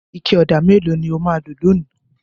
Ike ọ̀dà mélòó ni ó máa lò lónìí?